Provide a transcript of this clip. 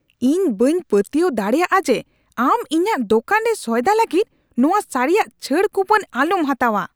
ᱤᱧ ᱵᱟᱹᱧ ᱯᱟᱹᱛᱭᱟᱹᱣ ᱫᱟᱲᱮᱭᱟᱜᱼᱟ ᱡᱮ ᱟᱢ ᱤᱧᱟᱹᱜ ᱫᱳᱠᱟᱱ ᱨᱮ ᱥᱚᱭᱫᱟ ᱞᱟᱹᱜᱤᱫ ᱱᱚᱶᱟ ᱥᱟᱹᱨᱤᱭᱟᱜ ᱪᱷᱟᱹᱲ ᱠᱩᱯᱚᱱ ᱟᱞᱚᱢ ᱦᱟᱛᱟᱣᱼᱟ ᱾